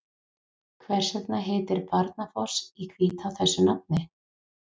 Hvers vegna heitir Barnafoss í Hvítá þessu nafni?